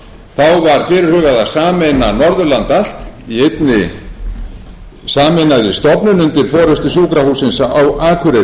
þá var fyrirhugað að sameina norðurland allt í einni sameinaðri stofnun undir forustu sjúkrahússins á akureyri heilbrigðisstofnun